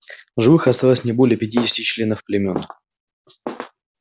в живых осталось не более пятидесяти членов племён